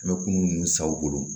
An bɛ kunun nunnu sa u bolo